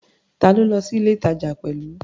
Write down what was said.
Ta lo lọ sí ilé-ìtàjà pẹ̀lú?